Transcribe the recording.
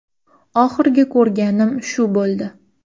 Oxirgi ko‘rganim shu bo‘ldi.